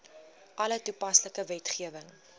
alle toepaslike wetgewing